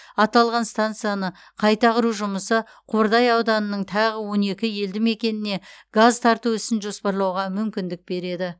аталған станцияны қайта құру жұмысы қордай ауданының тағы он екі елді мекеніне газ тарту ісін жоспарлауға мүмкіндік береді